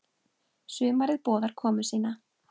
Sumarið boðar komu sína.